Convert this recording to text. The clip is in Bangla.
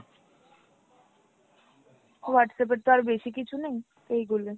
Whatsapp এর তো আর বেশিকিছু নেই, এইগুলাই।